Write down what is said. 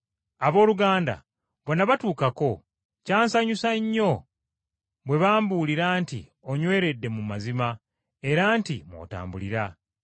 Abooluganda bwe nabatuukako kya nsanyusa nnyo bwe bambuulira nti onyweredde mu mazima, era nti mw’otambulira.